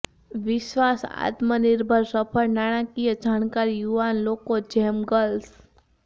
વિશ્વાસ આત્મનિર્ભર સફળ નાણાંકીય જાણકારી યુવાન લોકો જેમ ગર્લ્સ